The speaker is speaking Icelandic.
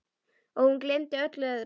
Og hún gleymdi öllu öðru.